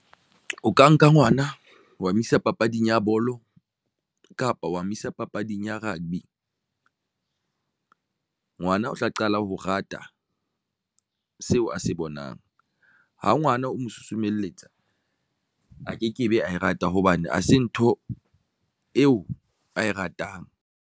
O ka nka ngwana wa mo isa papading ya bolo kapa wa Mo isa papading ya rugby. Ngwana o tla qala ho rata ng seo a se bonang ho ngwana? O mo susumelletsa a kekebe a E rata hobane hase ntho eo ae ratang.